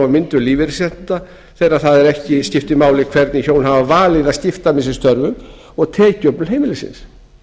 á myndun lífeyrisréttinda þeirra það er að ekki skiptir máli hvernig hjón hafa valið að skipta með sér störfum og tekjuöflun heimilisins